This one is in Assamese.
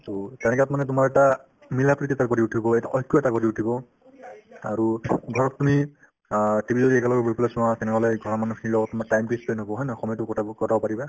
to তেনেকুৱাত মানে তোমাৰ এটা মিলাপ্ৰীতি এটা গঢ়ি উঠিব এটা ঐক্য এটা গঢ়ি উঠিব আৰু ধৰক তুমি অ TV যদি একেলগে বহি পেলাই চোৱা তেনেকুৱা লাগে ঘৰৰ মানুহখিনিৰ লগত তোমাৰ time তো ই spend হ'ব হয় নে নহয় সময়তো কটাব~ কটাব পাৰিবা